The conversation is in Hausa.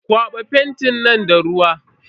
Kwaba fentin nan da ruwa.